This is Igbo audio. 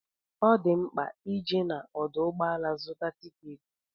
Ọ di mkpa ije n'ọdụ ụgbọala zụta tikeeti.